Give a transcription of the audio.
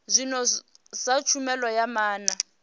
zwino sa tshumelo ya maana